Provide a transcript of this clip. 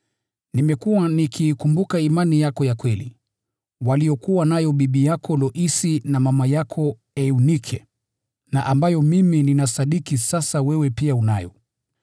Nimekuwa nikiikumbuka imani yako ya kweli, waliokuwa nayo bibi yako Loisi na mama yako Eunike na ambayo mimi ninasadiki sasa wewe pia unayo.